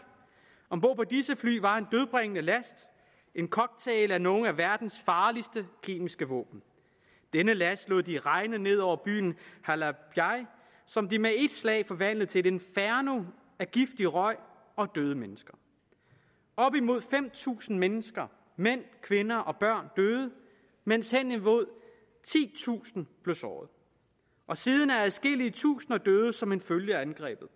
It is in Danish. om bord på disse fly var en dødbringende last en cocktail af nogle af verdens farligste kemiske våben denne last lod de regne ned over byen halabja som de med et slag forvandlede til et inferno af giftig røg og døde mennesker op imod fem tusind mennesker mænd kvinder og børn døde mens hen imod titusind blev såret og siden er adskillige tusinder døde som en følge af angrebet